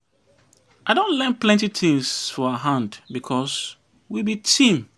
I don learn plenty tins for her hand because we be team.